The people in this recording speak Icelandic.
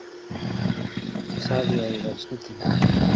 Sagði að ég væri snillingur.